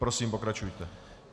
Prosím, pokračujte.